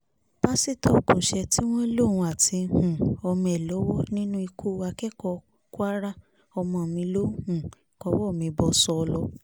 pásítọ̀ ogunṣẹ́ tí wọ́n lóun àti um ọmọ ẹ̀ lọ́wọ́ nínú ikú akẹ́kọ̀ọ́ kwara ọmọ mi ló um kọwọ́ mi bọ́ sọ́ọ́lọ́